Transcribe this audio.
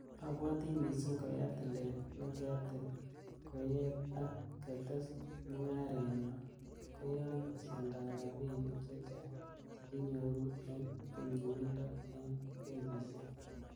Abwoti missing koyaa tilet nekiatil koyet ak ketes mungarenyon, koyoon besendab rabinik chechang chekikinyoru en nyumyumindo en benkisiek.